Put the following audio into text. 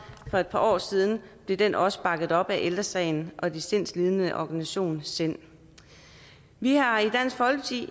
for et par år siden blev den også bakket op af ældre sagen og de sindslidendes organisation sind vi har i dansk folkeparti